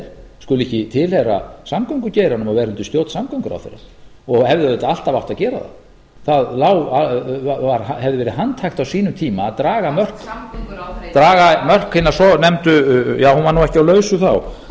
er skuli ekki tilheyra samgöngugeiranum og vera undir stjórn samgönguráðherra og hefði auðvitað alltaf átt að gera það það hefði verið handhægt á sínum tíma að draga mörk ja hún var nú ekki á lausu þá